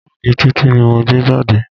Báàgì Títí ni mo gbé jáde.